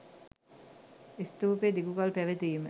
ස්තූපය දිගුකලක් පැවතීම